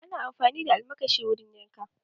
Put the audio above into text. Ana amfani da almakashi wurin yanka